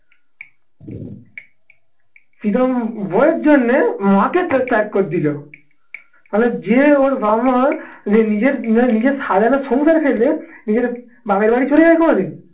প্রিতম বউয়ের জন্যে মাকে ত্যাগ করে দিলো তাহলে যে ওর যে নিজের নিজের সাজানো সুন্দর খেলে নিজের বাপের বাড়ি চলে যায় কোনোদিন